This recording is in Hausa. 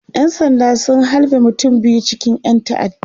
ƴan sanda sun halbe mutum biyu cikin ƴan ta'adda